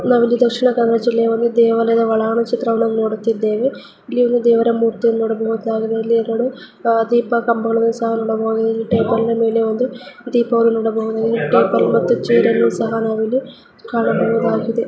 ನಾವಿಲ್ಲಿ ದಕ್ಷಿಣ ಕನ್ನಡ ಜಿಲ್ಲೆಯ ಒಳಾಂಗಣ ಚಿತ್ರವನ್ನು ನೋಡುತ್ತಿದ್ದವೇ ಇಲ್ಲಿ ಎರಡು ದೇವರ ಮೂರ್ತಿಗಳನ್ನು ನೋಡಬಹುದಾಗಿದೆ ಇಲ್ಲಿ ಎರಡು ದೀಪದ ಕಂಬಗಳನ್ನು ನೋಡಬಹುದಾಗಿದೆ. ಟೇಬಲ್ ಮೇಲೆ ಒಂದು ದೀಪವನ್ನು ಸಹ ನೋಡಬಹುದಾಗಿದೆ ಟೇಬಲ್ ಮತ್ತು ಚೇರ್ ಸಹ ನಾವು ಇಲ್ಲಿ ಕಾಣಬಹುದಾಗಿದೆ.